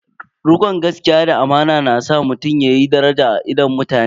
Rikon gaskiya da amana na sa mutum yayi daraja a idon mutane.